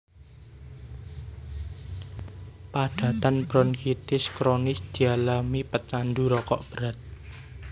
Padatan bronkitis kronis dialami pecandu rokok berat